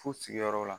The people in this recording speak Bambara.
Fu sigiyɔrɔ la